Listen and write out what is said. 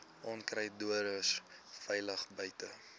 onkruiddoders veilig buite